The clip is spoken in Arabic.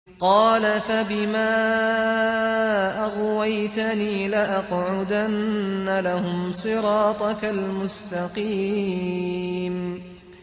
قَالَ فَبِمَا أَغْوَيْتَنِي لَأَقْعُدَنَّ لَهُمْ صِرَاطَكَ الْمُسْتَقِيمَ